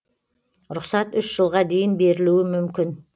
рұқсат үш жылға дейін берілуі мүмкін